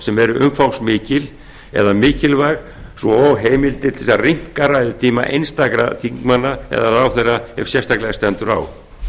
sem eru umfangsmikil eða mikilvæg svo og heimildir til að rýmka ræðutíma einstakra þingmanna eða ráðherra ef sérstaklega stendur á